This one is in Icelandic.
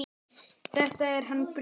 Þetta er hann Brimar.